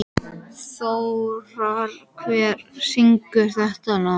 Þórar, hver syngur þetta lag?